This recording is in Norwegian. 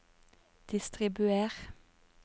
distribuer